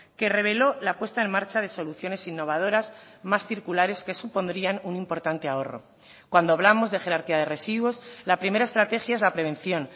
que reveló la puesta en marcha de soluciones innovadoras más circulares que supondrían un importante ahorro cuando hablamos de jerarquía de residuos la primera estrategia es la prevención